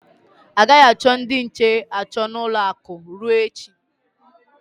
A gaghị achọ ndị nche achọ n'ụlọ akụ ruo echi.